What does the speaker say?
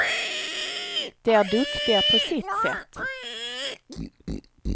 De är duktiga på sitt sätt.